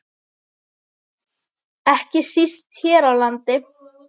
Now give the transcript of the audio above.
Ekki síst hér á landi.